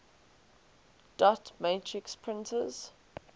dot matrix printers